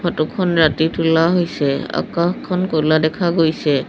Photo খন ৰাতি তোলা হৈছে আকাশখন ক'লা দেখা গৈছে।